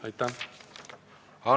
Aitäh!